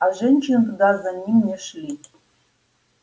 а женщины туда за ним не шли